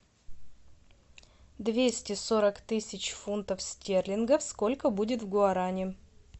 двести сорок тысяч фунтов стерлингов сколько будет в гуарани